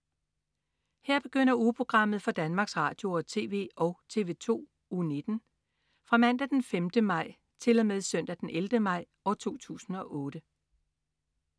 Her begynder ugeprogrammet for Danmarks Radio- og TV og TV2 Uge 19 Fra Mandag den 5. maj 2008 Til Søndag den 11. maj 2008